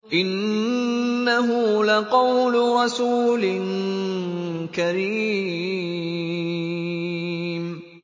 إِنَّهُ لَقَوْلُ رَسُولٍ كَرِيمٍ